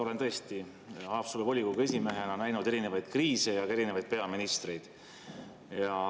Olen tõesti Haapsalu volikogu esimehena näinud erinevaid kriise ja ka erinevaid peaministreid.